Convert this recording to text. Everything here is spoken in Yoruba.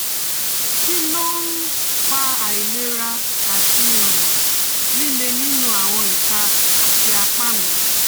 Kí ló ń fa àìlera àti um lile nínú àwọn ìka àti apá mi?